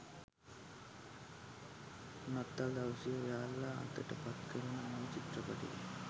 නත්තල් දවසේ ඔයාලා අතට පත් කරන මේ චිත්‍රපටිය